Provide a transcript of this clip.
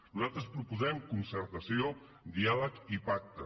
nosaltres proposem concertació diàleg i pacte